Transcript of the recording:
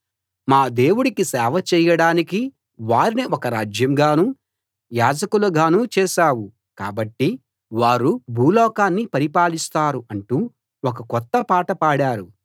మా దేవుడికి సేవ చేయడానికి వారిని ఒక రాజ్యంగానూ యాజకులుగానూ చేశావు కాబట్టి వారు భూలోకాన్ని పరిపాలిస్తారు అంటూ ఒక కొత్త పాట పాడారు